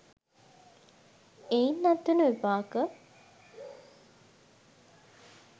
එයින් අත්වන විපාක